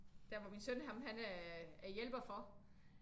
Der hvor min søn ham han er hjælper for